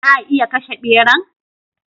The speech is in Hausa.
Za'a iya kashe ɓeran?